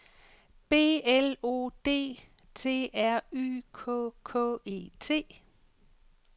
B L O D T R Y K K E T